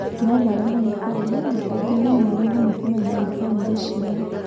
No maremwo nĩ kwaria na kaingĩ no maremwo nĩ kũmenya a bamirĩ ciao.